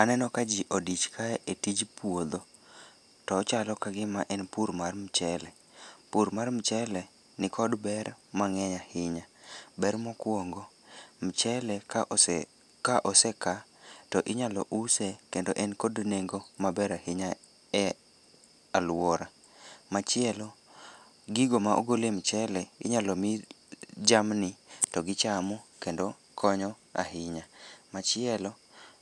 Aneno ka ji odich ka e tij puodho. To ochalo ka gima en pur mar mchele. Pur mar mchele nikod ber mangény ahinya. Ber mokwongo, mchele ka ose, ka ose ka, to inyalo use kendo en kod nengo maber ahinya e alwora. Machielo gigo ma ogole mchele, inyalo mi jamni to gichamo kendo konyo ahinya. Machielo